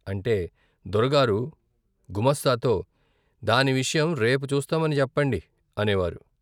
అంటే, దొరగారు గుమాస్తాతో దాని విషయం రేపు చూస్తామని చెప్పండి అనేవారు.